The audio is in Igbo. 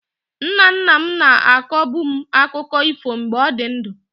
Nna nna m na-akọbu m akụkọ ifo mgbe ọ dị ndụ.